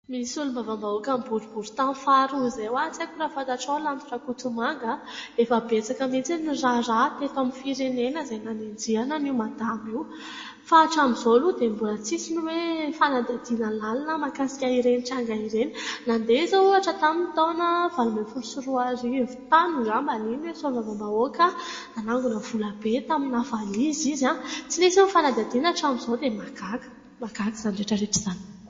Misy solombavambahoakan'ny boriborintany faharoa izay oa, tsy haiko raha fantatrao Lanto Rakotomanga a. Efa betsaka mihintsy ny raharaha teto amin'ny firenena izay nanenjehana an'io Madama io, fa hatramin'io aloha dia mbola tsisy ny oe fanadihadiana lalina mahakasika ireny tranga ireny. Nandeha izao ohatra taminy'ny taona valo ambin'ny folo sy roa arivo tany angambany iny, nisy solombavambahoaka nanangona volabe tamina valizy izy a, tsy nisy ny fanadihadiana hatramin'izao dia mahagaga ! mahagaga izany rehetra rehetra izany.